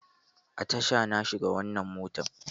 A tasha na shiga wannan motar